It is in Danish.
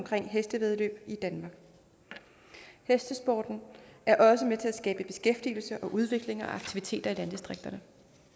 for hestevæddeløb i danmark hestesporten er også med til at skabe beskæftigelse og udvikling og aktiviteter i landdistrikterne